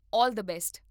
All the best!